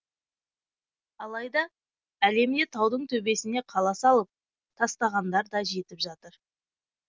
алайда әлемде таудың төбесіне қала салып тастағандар да жетіп жатыр